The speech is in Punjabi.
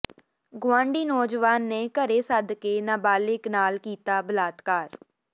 ਗੁਆਂਢੀ ਨੌਜਵਾਨ ਨੇ ਘਰੇ ਸੱਦ ਕੇ ਨਾਬਾਲਿਗ ਨਾਲ ਕੀਤਾ ਬਲਾਤਕਾਰ